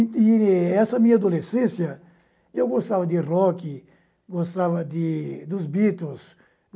E essa minha adolescência, eu gostava de rock, gostava de dos Beatles.